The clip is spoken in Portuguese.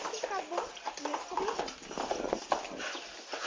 O assunto acabou, ninguém descobriu nada.